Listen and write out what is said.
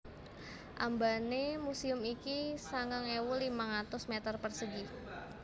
Ambané muséum iki sangang ewu limang atus mèter persegi